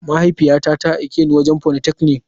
Mahaifiyata ta aike ni wurin politechnic.